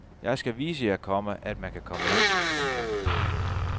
Jeg skal vise jer, komma at man kan komme ind. punktum